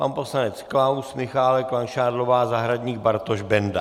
Pan poslanec Klaus, Michálek, Langšádlová, Zahradník, Bartoš, Benda.